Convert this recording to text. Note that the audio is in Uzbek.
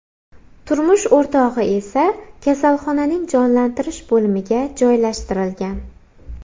Turmush o‘rtog‘i esa kasalxonaning jonlantirish bo‘limiga joylashtirilgan.